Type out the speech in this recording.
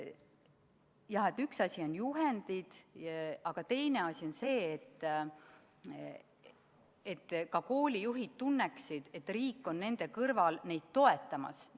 Jah, et üks asi on juhendid, aga teine asi on see, et ka koolijuhid tunneksid, et riik on nende kõrval neid toetamas.